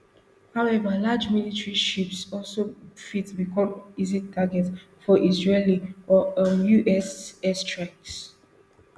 however large military ships also fit become easy targets for israeli or um us airstrikes